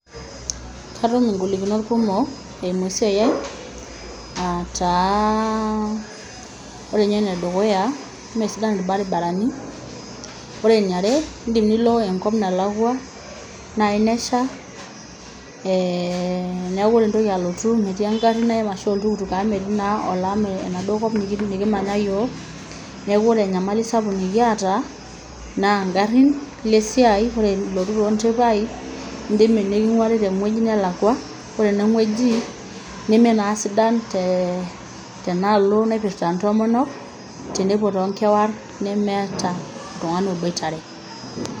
Katum ingolikinot kumok eimu esiai ai ataa ore inye enedukuya imesidan irbaribarani ore eniare indim nilo enkop nalakua naji nesha eeh, niaku ore intoki alotu metii engarri naim ashu oltukutuk amu metii naa olam enaduo kop nikitii nikimanya yiok neku ore enyamali sapuk nikiata naa ingarrin ilo esiai ore ilotu tonteipai indimi niking'uari tewueji nelakua ore ineng'ueji neme naa sidan te tenaalo naipirrta intomonok tenepuo tonkewarr nemeeta oltung'ani oboitare.